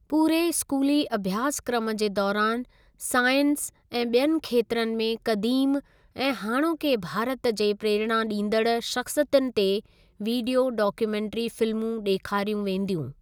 पूरे स्कूली अभ्यासक्रम जे दौरानि साइंस ऐं ॿियनि खेत्रनि में कदीम ऐं हाणोके भारत जे प्रेरणा ॾींदड़ शख़्सियतुनि ते वीडियो डाक्यूमेंट्री फिल्मूं ॾेखारियूं वेंदियूं।